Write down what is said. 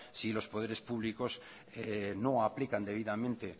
si los poderes públicos no aplican debidamente